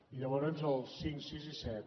i llavors els cinc sis i set